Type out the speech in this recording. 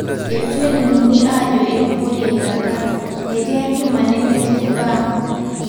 Etu elimuni ajo eibukori eilata ,meti enkima nemetii irbaa